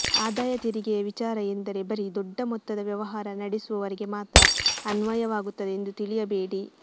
ಆದಾಯ ತೆರಿಗೆಯ ವಿಚಾರ ಎಂದರೆ ಬರೀ ದೊಡ್ಡ ಮೊತ್ತದ ವ್ಯವಹಾರ ನಡೆಸುವವರಿಗೆ ಮಾತ್ರ ಅನ್ವಯವಾಗುವುದೆಂದು ತಿಳಿಯಬೇಡಿ